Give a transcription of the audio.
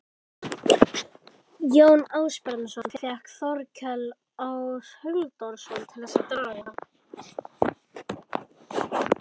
Jón Ásbjarnarson fékk Þórkel Áshildarson til þess að draga